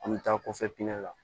An bɛ taa kɔfɛ pinɛ la